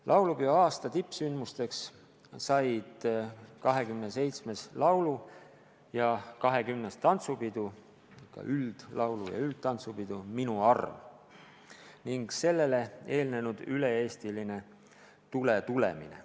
Laulupeoaasta tippsündmus oli XXVII laulu- ja XX tantsupidu "Minu arm", millele eelnes üle-eestiline "Tule tulemine".